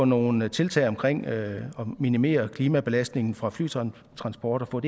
nogle tiltag omkring at minimere klimabelastningen fra flytransport